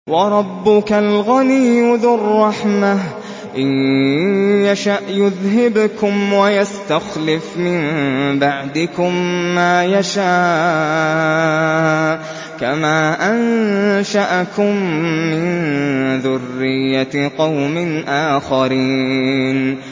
وَرَبُّكَ الْغَنِيُّ ذُو الرَّحْمَةِ ۚ إِن يَشَأْ يُذْهِبْكُمْ وَيَسْتَخْلِفْ مِن بَعْدِكُم مَّا يَشَاءُ كَمَا أَنشَأَكُم مِّن ذُرِّيَّةِ قَوْمٍ آخَرِينَ